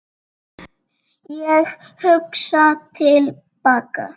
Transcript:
Ég hugsa til baka.